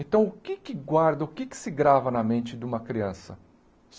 Então, o que é que guarda, o que é que se grava na mente de uma criança?